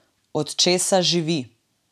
Od česa živi?